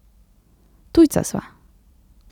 Tujca sva.